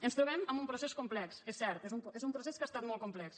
ens trobem amb un procés complex és cert és un procés que ha estat molt complex